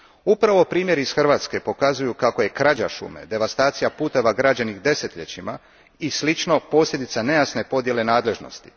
Upravo primjeri iz Hrvatske pokazuju kako je krađa šume, devastacija putova građenih desetljećima i slično posljedica nejasne podijele nadležnosti.